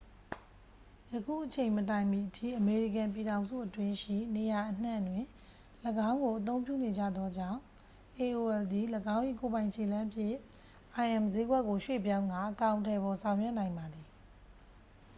ယခုအချိန်မတိုင်မီအထိ အမေရိကန်ပြည်ထောင်စုအတွင်းရှိ နေရာအနှံ့တွင် ၎င်းကိုအသုံးပြုနေကြသောကြောင့် aol သည် ၎င်း၏ကိုယ်ပိုင်ခြေလှမ်းဖြင့် im စျေးကွက်ကို ရွှေ့ပြောင်းကာ အကောင်အထည်ဖော်ဆောင်ရွက်နိုင်ပါသည်